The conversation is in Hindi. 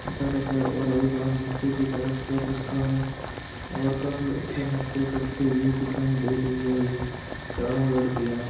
और एक हाथ निचे की तरफ कर रखा है और काफी अच्छा नर्तय करते दिखाय दे रही है चारो लडकिया--